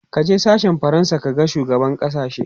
kaje sashen fransa ka ga shugaban sashen!